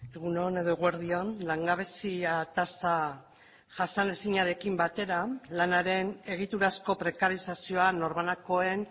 egun on edo eguerdi on langabezia tasa jasanezinarekin batera lanaren egiturazko prekarizazioa norbanakoen